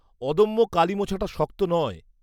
-অদম্য কালি মোছাটা শক্ত নয়।